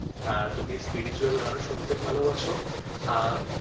তুমি spiritual গানও শুনতে ভালোবাসো আর